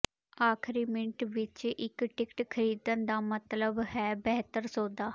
ਆਖਰੀ ਮਿੰਟ ਵਿਚ ਇਕ ਟਿਕਟ ਖ਼ਰੀਦਣ ਦਾ ਮਤਲਬ ਹੈ ਬਿਹਤਰ ਸੌਦਾ